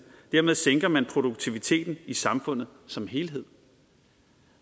dermed sænker man produktiviteten i samfundet som helhed